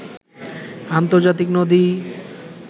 আর্ন্তজাতিক নদী